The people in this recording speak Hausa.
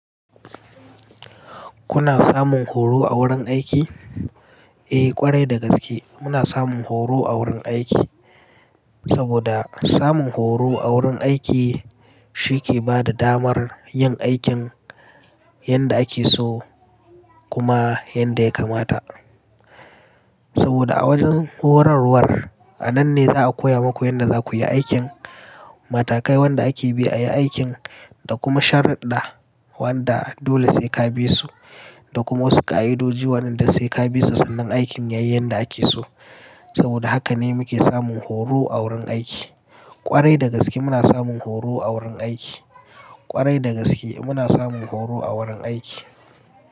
Kuna samun horo a wurin aiki? Eh, ƙwarai da gaske muna samun horo a wurin aiki. Saboda samun horo a wurin aiki shi ke bada damar yin aikin yadda ake so kuma yadda ya kamata. Saboda a wajen horarwar a nan ne za'a koya maku yadda zakuyi aikin, matakai wanda ake bi a yi aikin, da kuma shari'da wanda dole sai ka bi su, da kuma wasu ka'idoji waɗanda sai ka bi su sannan aikin yayi yadda ake so. Saboda haka ne muke samun horo a wurin aiki. Ƙwarai da gaske muna samun horo a wurin aiki. Ƙwarai da gaske muna samun horo a wurin aiki.